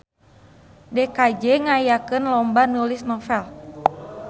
DKJ ngayakeun lomba nulis novel